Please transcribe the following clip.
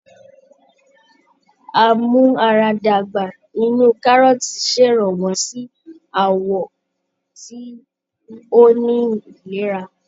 A-mú-ara-dàgbà inú kárọ́ọ̀tì ṣèrànwọ́ sí àwọ̀ tí ó ní ìlera